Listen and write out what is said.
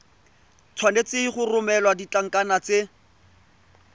tshwanetse go romela ditlankana tse